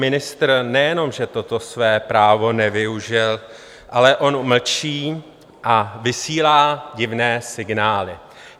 Ministr nejenom že toto své právo nevyužil, ale on mlčí a vysílá divné signály.